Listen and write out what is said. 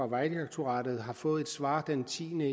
vejdirektoratet fået et svar den tiende